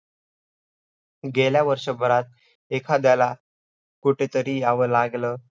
आणि बंधन आणि बंधनाती आयु हू अप्रहा वर शरीरली संयोग रूप बंधह